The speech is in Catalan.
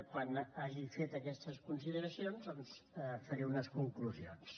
quan hagi fet aquestes consideracions faré unes conclusions